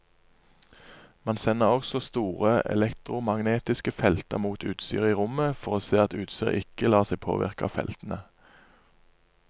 Man sender også store elektromagnetiske felter mot utstyret i rommet for å se at utstyret ikke lar seg påvirke av feltene.